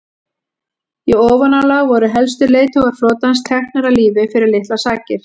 í ofanálag voru helstu leiðtogar flotans teknir af lífi fyrir litlar sakir